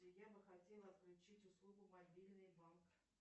я бы хотела отключить услугу мобильный банк